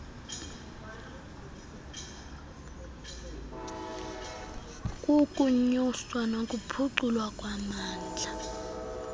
kukunyuswa nokuphuculwa kwamandla